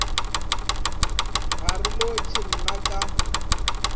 ga re lotšhe na ka